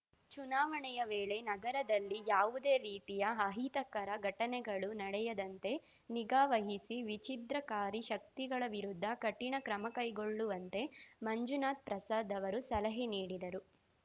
ಚುನಾವಣೆಯ ವೇಳೆ ನಗರದಲ್ಲಿ ಯಾವುದೇ ರೀತಿಯ ಅಹಿತಕರ ಘಟನೆಗಳು ನಡೆಯದಂತೆ ನಿಗಾವಹಿಸಿ ವಿಛಿದ್ರಕಾರಿ ಶಕ್ತಿಗಳ ವಿರುದ್ಧ ಕಠಿಣ ಕ್ರಮಕೈಗೊಳ್ಳುವಂತೆ ಮಂಜುನಾಥ್ ಪ್ರಸಾದ್ ಅವರು ಸಲಹೆ ನೀಡಿದರು